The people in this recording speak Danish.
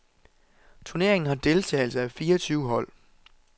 Turneringen har deltagelse af fireogtyve hold.